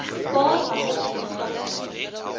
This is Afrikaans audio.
paar handige kontaknommers